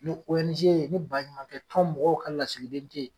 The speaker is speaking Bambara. Ni ONG ni ba ɲumankɛ tɔn mɔgɔw ka lasigiden te ye